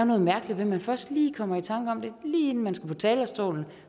noget mærkeligt ved at man først kommer i tanker om det lige inden man skal på talerstolen